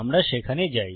আমরা সেখানে যাই